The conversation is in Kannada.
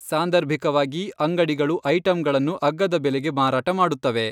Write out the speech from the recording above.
ಸಾಂದರ್ಭಿಕವಾಗಿ, ಅಂಗಡಿಗಳು ಐಟಮ್ಗಳನ್ನು ಅಗ್ಗದ ಬೆಲೆಗೆ ಮಾರಾಟ ಮಾಡುತ್ತವೆ.